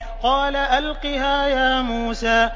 قَالَ أَلْقِهَا يَا مُوسَىٰ